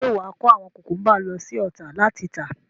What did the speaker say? Ṣé wàá kó àwọn kùkúnbà lọ sí Ọ̀tà láti tà.